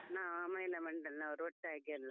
ನಾವು ಮಹಿಳಾ ಮಂಡಲ್ನವರು ಒಟ್ಟಾಗೆಲ್ಲಾ.